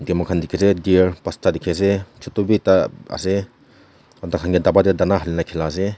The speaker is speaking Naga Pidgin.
Eteh mokhan dekhe ase deer pansta dekhe ase chotu bhi ekta ase thakhan kae daba dae dhana halina khela ase.